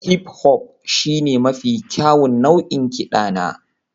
hip-hop shine mafi kyawun nau'in kiɗa na